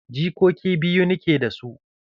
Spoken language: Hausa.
Jikoki biyu nike da su da.